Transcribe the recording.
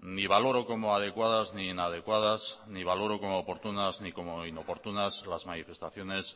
ni valoro como adecuadas ni inadecuadas ni valoro como oportunas ni como inoportunas las manifestaciones